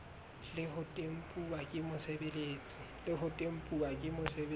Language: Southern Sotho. le ho tempuwa ke mosebeletsi